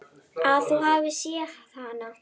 Að þú hafir séð hana?